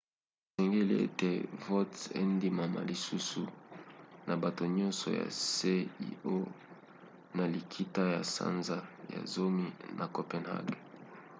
esengeli ete vote endimama lisusu na bato nyonso ya cio na likita ya sanza ya zomi na copenhague